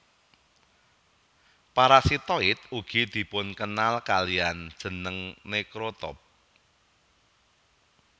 Parasitoid ugi dipunkenal kaliyan jeneng necrotroph